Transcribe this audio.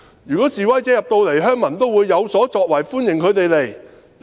如果示威者到元朗，鄉民都會有所作為，歡迎他們到來。